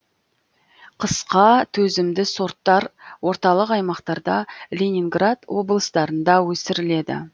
қысқа төзімді сорттар орталық аймақтарда ленинград облыстарында өсіріледі